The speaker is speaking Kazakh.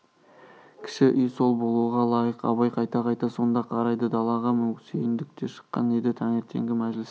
кіші үй сол болуға лайық абай қайта-қайта сонда қарайды далаға сүйіндік те шыққан еді таңертеңгі мәжіліске